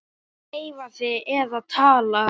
Ekki hreyfa þig eða tala.